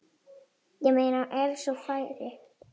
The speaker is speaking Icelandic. Ég meina ef svo færi.